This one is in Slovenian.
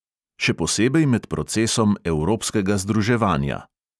Še posebej med procesom evropskega združevanja.